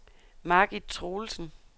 Margit Troelsen